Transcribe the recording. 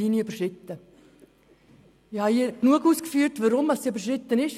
Ich habe hier zur Genüge ausgeführt, weshalb die rote Linie überschritten ist.